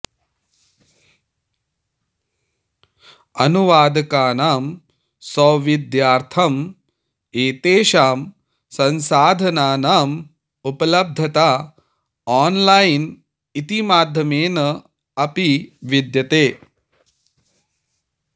अनुवादकानां सौविध्यार्थं एतेषां संसाधनानां उपलब्धता ऑनलाइन इति माध्यमेन अपि विद्यते